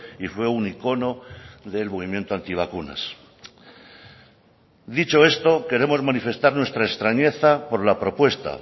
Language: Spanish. y fue un icono del movimiento anti vacunas dicho esto queremos manifestar nuestra extrañeza por la propuesta